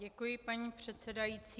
Děkuji, paní předsedající.